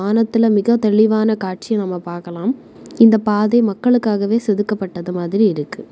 வானத்தில மிக தெளிவான காட்சிய நாம பாக்கலாம் இந்த பாதை மக்களுக்காகவே செதுக்கப்பட்டது மாதிரி இருக்கு.